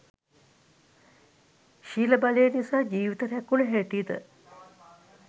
ශීල බලය නිසා ජීවිත රැකුණු හැටිද,